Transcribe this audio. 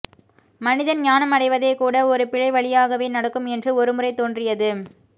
மனிதன் ஞானம் அடைவதே கூட ஒரு பிழை வழியாகவே நடக்கும் என்று ஒருமுறை தோன்றியது